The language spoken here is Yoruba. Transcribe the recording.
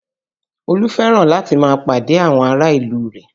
Olú fẹ́ràn láti máa pàdé ará ìlú rẹ̀